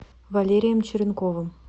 валерием черенковым